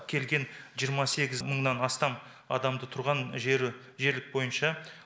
келген жиырма сегіз мыңнан астам адамды тұрған жері жерлік бойынша